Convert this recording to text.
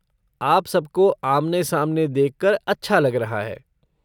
आप सब को आमने सामने देख कर अच्छा लग रहा है।